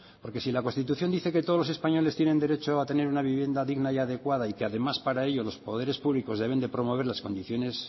porque si en constitución dice que todos los españoles tienen derecho a tener una vivienda digna y adecuada y que además para ello los poderes públicos deben promover las condiciones